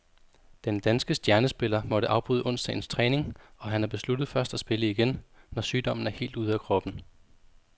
Den danske stjernespiller måtte afbryde onsdagens træning, og han har besluttet først at spille igen, når sygdommen er helt ude af kroppen.